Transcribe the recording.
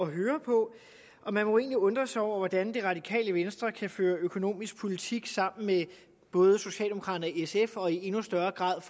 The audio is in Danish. høre på men man må egentlig undre sig over hvordan det radikale venstre kan føre økonomisk politik sammen med både socialdemokraterne og sf og i endnu større grad